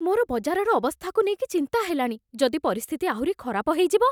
ମୋର ବଜାରର ଅବସ୍ଥାକୁ ନେଇକି ଚିନ୍ତା ହେଲାଣି । ଯଦି ପରିସ୍ଥିତି ଆହୁରି ଖରାପ ହେଇଯିବ?